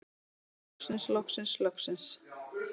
Loksins loksins loksins.